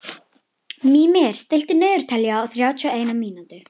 Mímir, stilltu niðurteljara á þrjátíu og eina mínútur.